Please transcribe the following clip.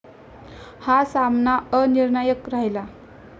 हा सामना अनिर्णायक राहिला.